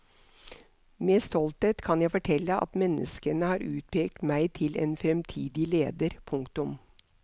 Med stolthet kan jeg fortelle at menneskene har utpekt meg til en fremtidig leder. punktum